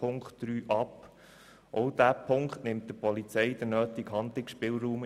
Auch dieser Punkt nimmt der Polizei im Einzelfall den nötigen Handlungsspielraum.